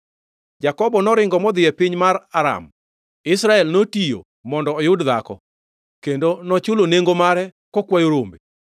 Jakobo noringo modhi e piny mar Aram; Israel notiyo mondo oyud dhako, kendo nochulo nengo mare kokwayo rombe.